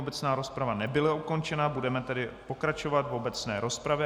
Obecná rozprava nebyla ukončena, budeme tedy pokračovat v obecné rozpravě.